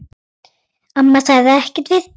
Amma sagði ekkert við því.